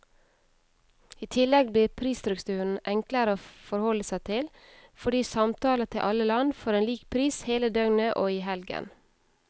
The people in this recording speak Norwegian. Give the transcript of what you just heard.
I tillegg blir prisstrukturen enklere å forholde seg til, fordi samtaler til alle land får en lik pris hele døgnet og i helgen.